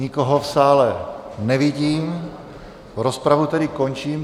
Nikoho v sále nevidím, rozpravu tedy končím.